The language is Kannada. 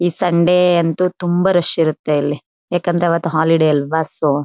ಈ ಸಂಡೆ ಅಂತೂ ತುಂಬಾ ರಶ್ ಇರುತ್ತೆ ಇಲ್ಲಿ ಯಾಕಂದ್ರೆ ಅವತ್ತು ಹಾಲಿಡೇ ಅಲ್ವ ಸೊ .